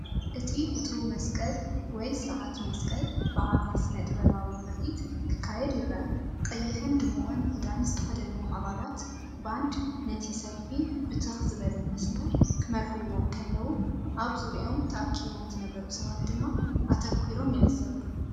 እቲ ፍቱው መስቀል መስቀል ወይ ስርዓት መስቀል ብዓቢ ስነ-ጥበባዊ ምርኢት ክካየድ ይረአ። ቀይሕን ድሙቕን ክዳን ዝተኸድኑ ኣባላት ባንድ ነቲ ሰልፊ ብትኽ ዝበለ መስመር ክመርሕዎ እንከለዉ፡ ኣብ ዙርያኦም ተኣኪቦም ዝነበሩ ሰባት ድማ ኣተኲሮም ይዕዘቡ፡፡